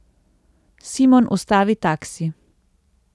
Simon ustavi taksi.